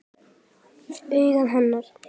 Augu hennar.